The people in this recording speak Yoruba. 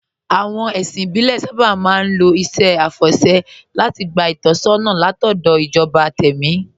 Àwọn ẹ̀sìn ìbílẹ̀ sábà máa ń lo iṣẹ́ àfọ̀ṣẹ́ láti gba ìtọ́sọ́nà látọ̀dọ̀ ìjọba tẹ̀mí